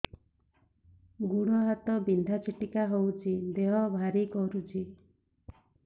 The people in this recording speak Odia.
ଗୁଡ଼ ହାତ ବିନ୍ଧା ଛିଟିକା ହଉଚି ଦେହ ଭାରି କରୁଚି